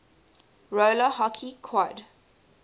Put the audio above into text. roller hockey quad